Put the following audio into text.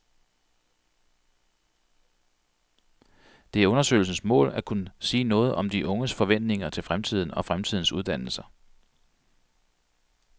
Det er undersøgelsens mål at kunne sige noget om de unges forventninger til fremtiden og fremtidens uddannelser.